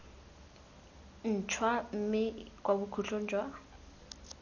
ntšhwa mme kwa bokhutlong jwa